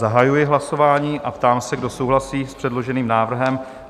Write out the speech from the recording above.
Zahajuji hlasování a ptám se, kdo souhlasí s předloženým návrhem?